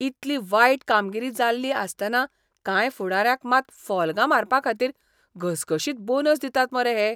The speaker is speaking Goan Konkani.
इतली वायट कामगिरी जाल्ली आसतना कांय फुडाऱ्यांक मात फॉल्गां मारपाखातीर घसघशीत बोनस दितात मरे हे.